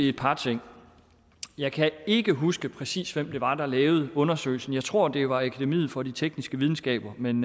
et par ting jeg kan ikke huske præcis hvem det var der lavede undersøgelsen jeg tror det var akademiet for de tekniske videnskaber men